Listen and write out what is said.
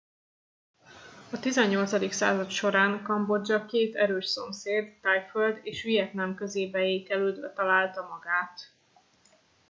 a 18. század során kambodzsa két erős szomszéd thaiföld és vietnám közé beékelődve találta magát